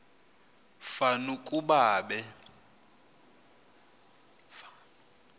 fan ukuba be